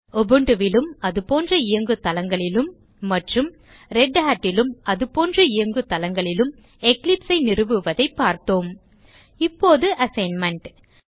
Ubuntu லும் அதுபோன்ற இயங்கு தளங்களிலும் மற்றும் Redhat லும் அதுபோன்ற இயங்கு தளங்களிலும் Eclipse ஐ நிறுவுவதைப் பார்த்தோம் இப்போது அசைன்மென்ட்